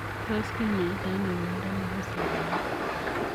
Tos kinyaitaa anoo miandoo nepoo soromok?